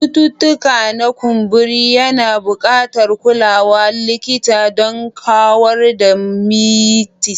Cututtuka na ƙumburi yana buƙatar kulawar likita don kawar da mites.